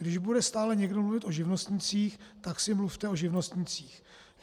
Když bude stále někdo mluvit o živnostnících, tak si mluvte o živnostnících.